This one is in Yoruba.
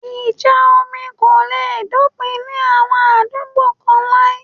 Ìjà omi kò le dópin ní àwọn àdúgbò kán láí